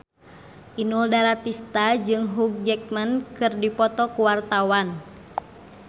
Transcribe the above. Inul Daratista jeung Hugh Jackman keur dipoto ku wartawan